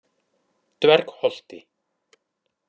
Dvergholti